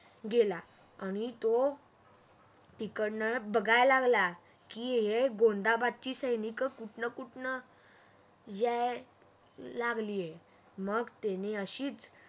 गेला आणि तो तिकडण बघायला लागला की हे गोंधाबदची सैनिक कुठण कुठण यायला लागलाय मग त्यानं अशीच